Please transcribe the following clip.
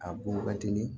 A bɔn ka teli